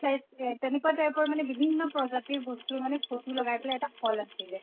flies এহ তেনেকুৱা type ৰ মানে বিভিন্ন প্ৰজাতিৰ বস্তু মানে photo লগাই পেলে তাত আছিলে